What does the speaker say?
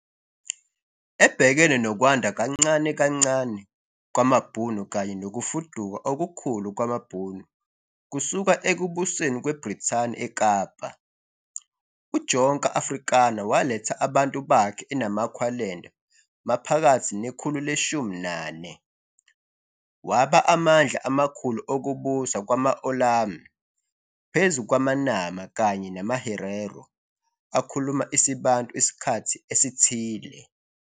Ebhekene nokwanda kancane kancane kwamaBhunu kanye nokufuduka okukhulu kwamaBhunu kusuka ekubuseni kweBrithani eKapa, uJonker Afrikaner waletha abantu bakhe eNamaqualand maphakathi nekhulu le-19, waba amandla amakhulu okubusa kwamaOorlam phezu kwamaNama kanye namaHerero akhuluma isiBantu isikhathi esithile.